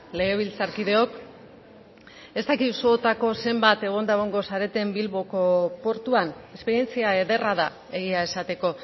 legebiltzarkideok ez dakit zuotako zenbat egonda egongo zareten bilboko portuan esperientzia ederra da egia esateko